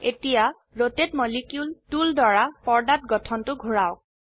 এতিয়া ৰতাতে molecule tool দ্বাৰা পৰ্দাত গঠনটো ঘোৰাওক